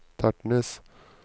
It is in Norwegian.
Tertnes